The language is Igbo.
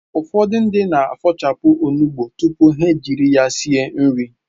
Ụfọdụ ndị na-afọ̀chapụ onugbụ tupu ha ejiri ya sie nri